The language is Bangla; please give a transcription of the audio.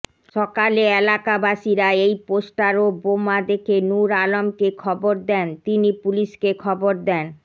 সকালে এলাকাবাসীরা এই পোষ্টার ও বোমা দেখে নুর আলমকে খবর দেন তিনি পুলিশকে খবর দেন